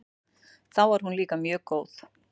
Þá var hún líka mjög góð.